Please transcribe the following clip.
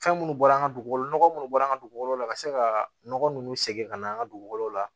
Fɛn minnu bɔra an ka dugukolo nɔgɔ minnu bɔra an ka dugukolo la ka se ka nɔgɔ nunnu sɛgɛn ka na an ka dugukolo la